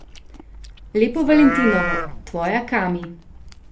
Lepo valentinovo, tvoja Kami.